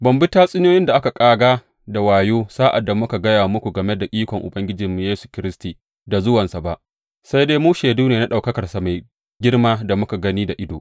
Ba mu bi tatsuniyoyin da aka ƙaga da wayo sa’ad da muka gaya muku game da ikon Ubangijinmu Yesu Kiristi da zuwansa ba, sai dai mu shaidu ne na ɗaukakarsa mai girma da muka gani da ido.